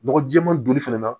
Nɔgɔ jɛɛma donni fɛnɛ na